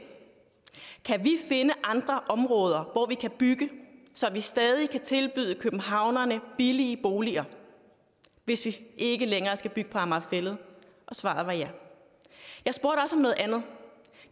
kan vi finde andre områder hvor vi kan bygge så vi stadig kan tilbyde københavnerne billige boliger hvis vi ikke længere skal bygge på amager fælled og svaret var ja jeg spurgte også om noget andet